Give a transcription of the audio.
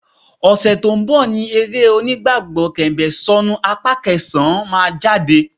Ọ̀sẹ̀ tó ń bọ̀ ni eré onígbàgbọ́ Kẹ̀m̀bẹ̀ Ìsọ̀nu apá kẹsàn-án máa jáde